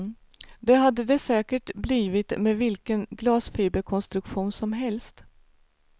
Det hade det säkert blivit med vilken glasfiberkonstruktion som helst.